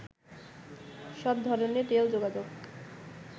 সব ধরনের রেল যোগাযোগ